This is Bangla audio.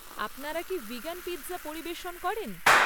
আপনারা কি ভিগান পিৎজা পরিবেশন করেন?